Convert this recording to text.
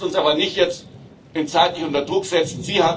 Wir lassen uns aber jetzt nicht zeitlich unter Druck setzen.